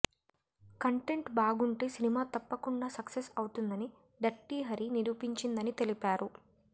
content బాగుంటే cinema తప్పకుండా success అవుతుందని డర్టీ హరి నిరూపించిందని తెలిపారు